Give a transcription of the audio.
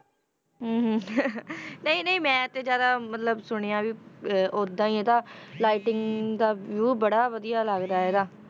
ਹਮ ਹਮ ਨਹੀਂ ਨਹੀਂ ਮੈਂ ਤੇ ਜ਼ਿਆਦਾ ਮਤਲਬ ਸੁਣਿਆ ਵੀ ਅਹ ਓਦਾਂ ਹੀ ਇਹਦਾ lighting ਦਾ view ਬੜਾ ਵਧੀਆ ਲੱਗਦਾ ਇਹਦਾ,